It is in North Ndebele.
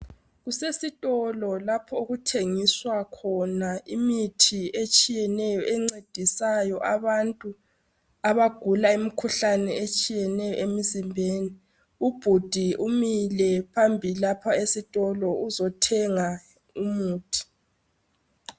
Kusesitolo lapho okuthengiswa khona imithi etshiyeneyo encedisayo abantu abagula imikhuhlane etshiyeneyo emizimbeni .Ubhudi umilephambi lapha esitolo uzothenga umuthi.